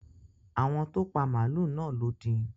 Àwọn tó pa màlúù náà lọ́ din.